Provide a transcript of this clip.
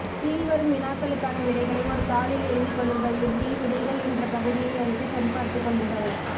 கீழ்வரும் வினாக்களுக்கான விடைகளை ஒரு தாளில் எழுதிக்கொள்ளுங்கள் இறுதியில் விடைகள் என்ற பகுதியை அழுத்தி சரிபார்த்து கொள்ளுங்கள்